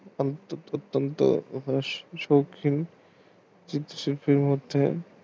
হস্ত শৌখিন শিল্প কলা